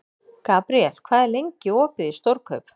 Gabriel, hvað er lengi opið í Stórkaup?